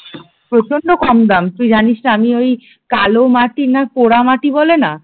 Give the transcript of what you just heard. প্রচন্ড কম দাম তুই জানিস না আমি ওই কালো মাটি না পোড়ামাটি বলে না